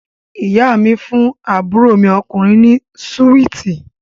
Ìyá mi fún àbúrò mi ọkùnrin ni súwíítì